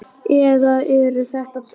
Eða eru þetta tvö?